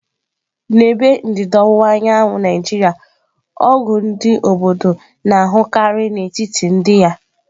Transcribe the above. N'ebe ndịda ọwụwa anyanwụ Naijiria ọgwụ ndị obodo na-ahụkarị n'etiti ndị ya.